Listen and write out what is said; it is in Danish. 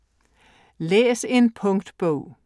Læs en punktbog